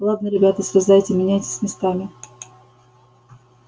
ладно ребята слезайте меняйтесь местами